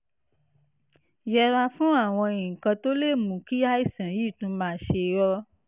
yẹra fún àwọn nǹkan tó lè mú kí àìsàn yìí tún máa ṣe ọ́